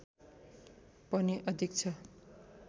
पनि अधिक छ